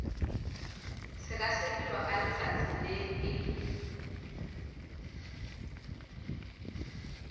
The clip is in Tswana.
sekasekiwa ka letsatsi le e